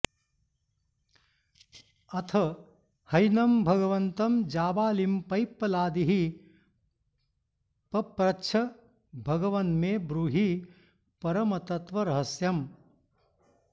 अथ हैनं भगवन्तं जाबालिं पैप्पलादिः पप्रच्छ भगवन्मे ब्रूहि परमतत्त्वरहस्यम्